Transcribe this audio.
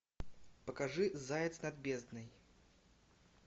покажи заяц над бездной